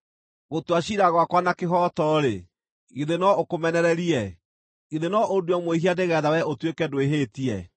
“Gũtua ciira gwakwa na kĩhooto-rĩ, githĩ no ũkũmenererie? Githĩ no ũndue mwĩhia nĩgeetha wee ũtuĩke ndwĩhĩtie?